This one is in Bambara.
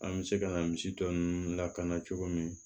An bɛ se ka na misi tɔ ninnu lakana cogo min